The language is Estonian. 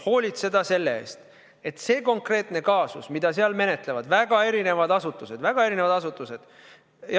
Hoolitseda selle eest, et see konkreetne kaasus, mida seal menetlevad väga erinevad asutused, väga erinevad asutused ...